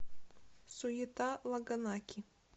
суета лагонаки